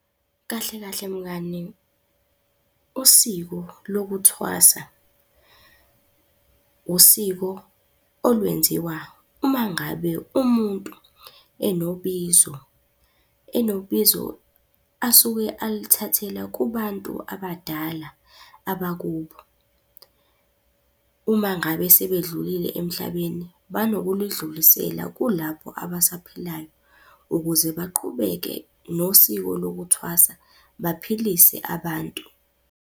Kahle kahle mngani usiko lokuthwasa, usiko olwenziwa umangabe umuntu enobizo, enobizo asuke aluthathela kubantu abadala abakubo. Uma ngabe sebedlulile emhlabeni banokulidlulisela kulabo abasaphilayo ukuze baqhubeke nosiko lokuthwasa, baphilise abantu.